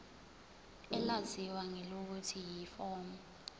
elaziwa ngelokuthi yiform